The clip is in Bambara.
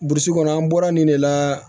Burusi kɔnɔ an bɔra nin de la